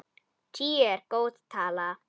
Tíu er góð tala.